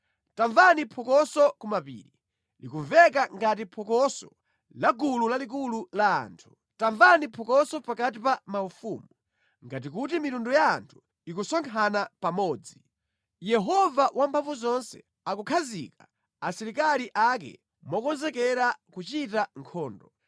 Tamvani phokoso ku mapiri, likumveka ngati phokoso la gulu lalikulu la anthu! Tamvani phokoso pakati pa maufumu, ngati kuti mitundu ya anthu ikusonkhana pamodzi! Yehova Wamphamvuzonse akukhazika asilikali ake mokonzekera kuchita nkhondo.